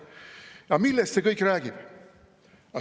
Ja millest see kõik räägib?